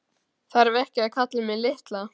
Þarf ekki að kalla mig litla.